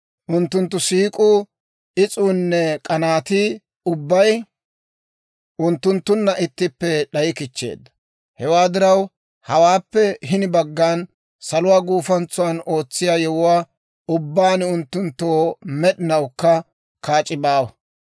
Unttunttu siik'uu, is'uunne k'anaatii ubbay unttunttunna ittippe d'ayikichcheedda. Hewaa diraw, hawaappe hini baggan saluwaa gufantsan oosettiyaa yewuwaa ubbaan unttunttoo med'inawukka kaac'i baawa.